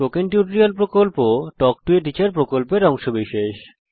spoken tutorial প্রকল্প talk to a teacher প্রকল্পের অংশবিশেষ